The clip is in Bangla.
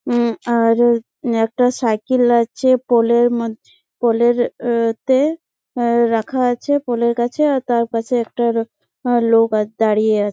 উ আর একটা সাইকেল আছে পোলের মদ পোলের অ তে আ রাখা আছে পোলের কাছে আ তার পাশে একটা আ লোক দাঁড়িয়ে আ--